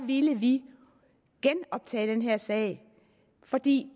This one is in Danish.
ville vi genoptage den her sag fordi